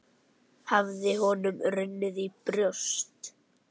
Hafði honum runnið í brjóst?